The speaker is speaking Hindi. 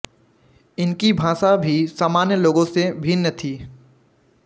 इनकी भाषा भी सामान्य लोगों से भिन्न थी